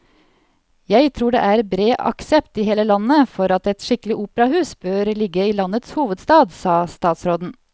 Jeg tror det er bred aksept i hele landet for at et skikkelig operahus bør ligge i landets hovedstad, sa statsråden.